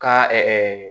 Ka